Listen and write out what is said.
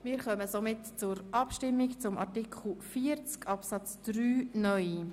Wir kommen somit zur Abstimmung über Artikel 40 Absatz 3 (neu).